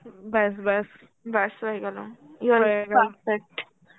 ব্যাস ব্যাস, ব্যাস হয়ে গেল হয়ে গেল